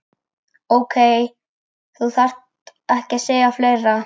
Ókei, þú þarft ekki að segja fleira.